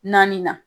Naani na